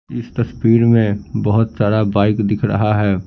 इस तस्वीर में बहुत सारा बाइक दिख रहा है।